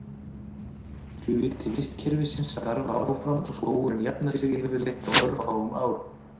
Hluti vistkerfisins starfar áfram og skógurinn jafnar sig yfirleitt á örfáum árum.